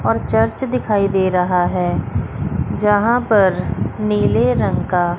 और चर्च दिखाई दे रहा है जहां पर नीले रंग का--